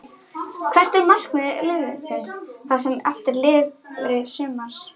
Hvert er markmið liðsins það sem eftir lifir sumars?